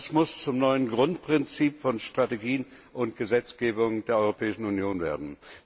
Das muss zum neuen Grundprinzip von Strategien und Gesetzgebung der Europäischen Union werden.